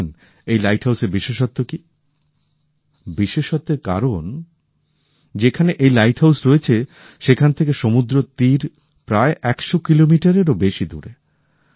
জানেন এই লাইট হাউসের বিশেষত্ব কি বিশেষত্বের কারণ যেখানে এই লাইট হাউস রয়েছে সেখান থেকে সমুদ্রতীর প্রায় ১০০ কিলোমিটারেরও বেশি দূরে